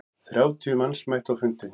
Þrjátíu manns mættu á fundinn.